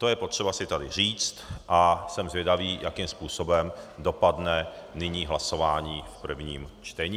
To je potřeba si tady říct a jsem zvědavý, jakým způsobem dopadne nyní hlasování v prvním čtení.